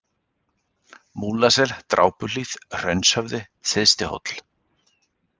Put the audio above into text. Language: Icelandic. Múlasel, Drápuhlíð, Hraunshöfði, Syðstihóll